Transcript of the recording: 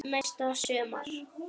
Næsta sumar.